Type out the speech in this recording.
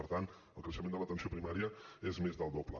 per tant el creixement de l’atenció primària és més del doble